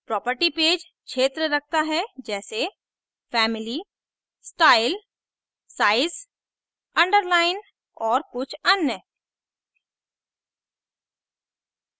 property page क्षेत्र रखता है जैसेfamily स्टाइल size underline और कुछ अन्य